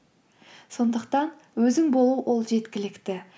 сондықтан өзің болу ол жеткілікті